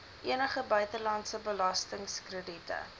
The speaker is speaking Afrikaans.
enige buitelandse belastingkrediete